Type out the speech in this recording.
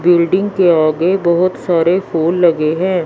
Building के आगे बहोत सारे फूल लगे हैं।